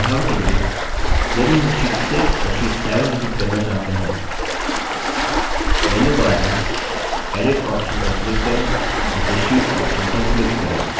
उदाहरण के लिए यदि हम sheet 6 और sheet 7 डिलीट करना चाहते हैं मेन्यूबार में edit option पर click करें और फिर sheet option पर click करें